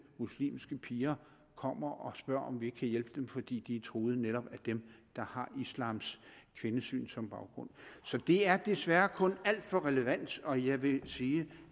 muslimske piger kommer og spørger om vi ikke kan hjælpe dem fordi de er truet netop af dem der har islams kvindesyn som baggrund så det er desværre kun alt for relevant og jeg vil sige